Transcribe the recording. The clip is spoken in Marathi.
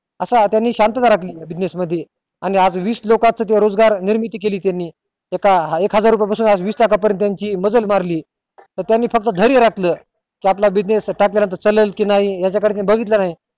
असा त्यानी शांतात राखली business मध्ये आणि आज वीस लोकांन साठी रोजगार निर्मिती केली त्यानी एक हजारा पासून वीस लाख पर्यंत मजल मारली तर त्यानी आपलं धेर्य राखलं कि त्यानी आपला चालेल कि नाही याच्या कडे त्यानी बघितलं नाही